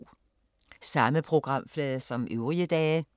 Samme programflade som øvrige dage